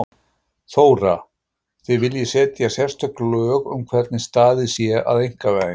Þóra: Þið viljið setja sérstök lög um hvernig staðið sé að einkavæðingu?